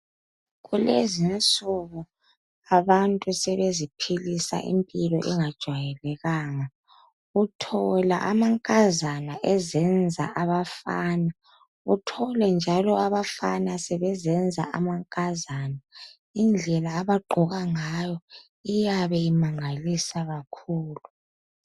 Kulezinsuku abantu sebeziphilisa impilo engajayelekanga uthola amankazana ezenza abafana uthole njalo abafana bezenza amankazana indlela abagqoka ngayo iyabe imangalisa kakhulu.